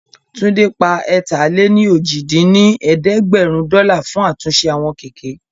Túndé pa ẹ̀ta-lé-ní-ojì dín ní ẹ̀ẹ́dẹ́gbẹ́rún dọ́là fún àtúnṣe àwọn kẹ̀kẹ́